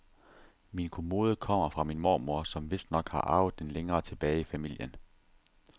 Min kommode kommer fra min mormor, som vistnok har arvet den længere tilbage i familien.